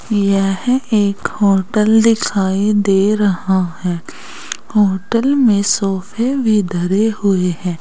यह एक होटल दिखाई दे रहा है होटल में सोफे भी धरे हुए है।